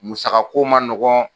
Musaka ko man nɔgɔn.